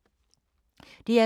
DR2